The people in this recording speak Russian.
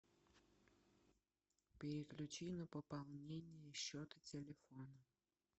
переключи на пополнение счета телефона